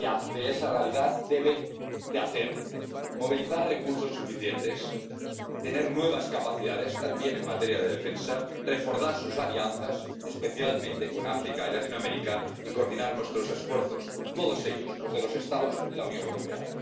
En esa realidad lo que debe hacer es movilizar recursos suficientes, tener nuevas capacidades, también en materia de defensa, reforzar sus alianzas, especialmente con África y Latinoamérica, y coordinar sus esfuerzos, todos ellos, los de los Estados y los de la Unión Europea.